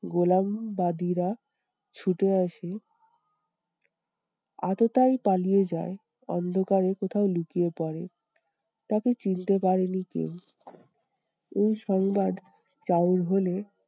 গোলামবাদীরা ছুটে আসে। আততায়ী পালিয়ে যায় অন্ধকারে কোথাও লুকিয়ে পরে। তাকে চিনতে পারেনি কেউ। এই সংবাদ চাউর হলে